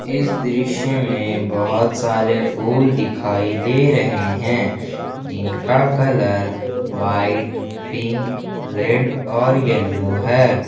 इस दृश्य में बहोत सारे फूल दिखाई दे रहे हैं जिनका कलर व्हाइट पिंक रेड और येलो है।